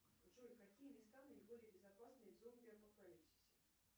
джои какие места наиболее безопасные при зомби апокалипсисе